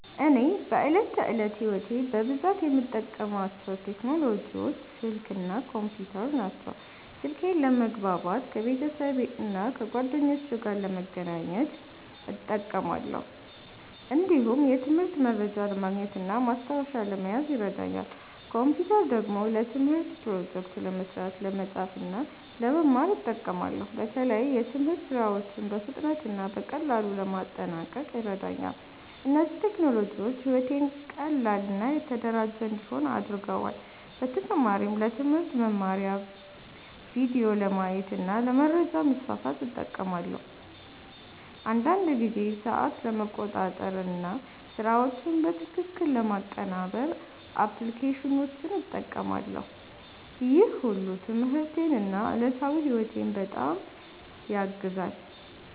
እኔ በዕለት ተዕለት ሕይወቴ በብዛት የምጠቀምባቸው ቴክኖሎጂዎች ስልክ እና ኮምፒውተር ናቸው። ስልኬን ለመግባባት ከቤተሰብና ከጓደኞቼ ጋር ለመገናኘት እጠቀማለሁ። እንዲሁም የትምህርት መረጃ ለማግኘት እና ማስታወሻ ለመያዝ ይረዳኛል። ኮምፒውተር ደግሞ ለትምህርት ፕሮጀክቶች ለመስራት፣ ለመጻፍ እና ለመማር እጠቀማለሁ። በተለይ የትምህርት ሥራዎችን በፍጥነት እና በቀላሉ ለማጠናቀቅ ይረዳኛል። እነዚህ ቴክኖሎጂዎች ሕይወቴን ቀላል እና የተደራጀ እንዲሆን አድርገዋል። በተጨማሪም ለትምህርት መማሪያ ቪዲዮዎችን ለማየት እና ለመረጃ ማስፋፋት እጠቀማለሁ። አንዳንድ ጊዜ ሰዓት ለመቆጣጠር እና ስራዎችን በትክክል ለማቀናበር አፕሊኬሽኖችን እጠቀማለሁ። ይህ ሁሉ ትምህርቴን እና ዕለታዊ ሕይወቴን በጣም ያግዛል።